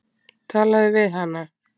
Talaðu við hana.